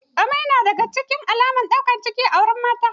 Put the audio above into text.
Amai na daga cikin alamar ɗaukan ciki a wurin mata